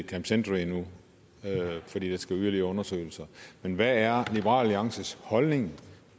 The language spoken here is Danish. camp century endnu fordi der skal laves yderligere undersøgelser men hvad er liberal alliances holdning